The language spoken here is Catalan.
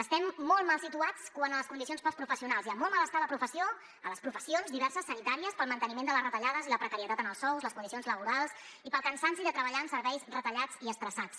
estem molt mal situats quant a les condicions per als professionals hi ha molt de mal estar a la professió a les professions diverses sanitàries pel manteniment de les retallades i la precarietat en els sous les condicions laborals i pel cansament de treballar en serveis retallats i estressats